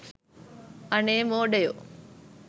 අනේ මෝඩයෝ